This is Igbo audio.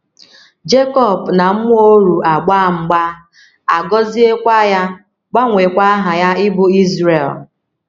Jekọb na mmụọ oru agbaa mgba, a gọziekwa ya, gbanweekwa aha ya ịbụ Izrel.